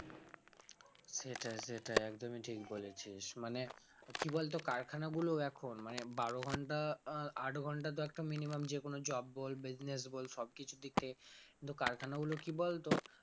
সেটাই সেটাই একদমই ঠিক বলেছিস মানে কি বলতো কারখানাগুলো এখন মানে বারো ঘন্টা আহ আট ঘন্টা তো একটা minimum যে কোন job বল business বল সবকিছু দিক থেকে কিন্তু কারখানাগুলো কি বলতো